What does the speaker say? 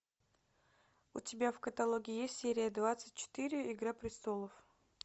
у тебя в каталоге есть серия двадцать четыре игра престолов